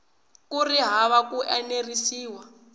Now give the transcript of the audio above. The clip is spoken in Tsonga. ku ri hava ku enerisiwa